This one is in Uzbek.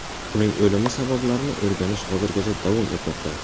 Uning o‘limi sabablarini o‘rganish hozirgacha davom etmoqda.